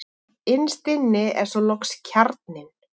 Innst er svo loks kjarninn.